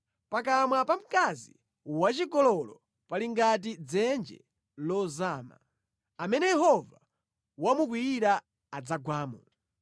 Pakamwa pa mkazi wachigololo pali ngati dzenje lozama; amene Yehova wamukwiyira adzagwamo.